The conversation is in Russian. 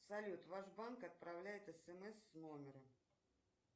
салют ваш банк отправляет смс с номером